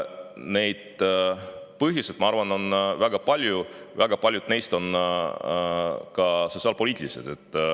Neid põhjuseid on, ma arvan, väga palju, väga paljud neist on ka sotsiaalpoliitilised.